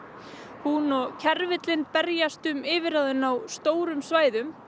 hún og berjast um yfirráðin á stórum svæðum